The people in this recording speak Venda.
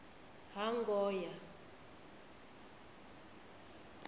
hangoya